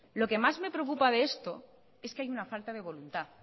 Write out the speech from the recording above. lo que más me preocupa de esto es que hay una falta de voluntad